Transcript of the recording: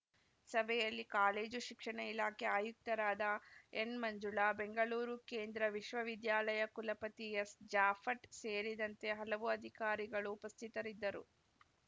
ಸಭೆಯಲ್ಲಿ ಕಾಲೇಜು ಶಿಕ್ಷಣ ಇಲಾಖೆ ಆಯುಕ್ತರಾದ ಎನ್‌ಮಂಜುಳಾ ಬೆಂಗಳೂರು ಕೇಂದ್ರ ವಿಶ್ವವಿದ್ಯಾಲಯ ಕುಲಪತಿ ಎಸ್‌ ಜಾಫಟ್‌ ಸೇರಿದಂತೆ ಹಲವು ಅಧಿಕಾರಿಗಳು ಉಪಸ್ಥಿತರಿದ್ದರು